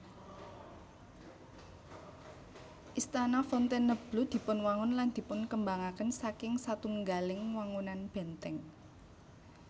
Istana Fontainebleau dipunwangun lan dipunkembangaken saking satunggaling wangunan bèntèng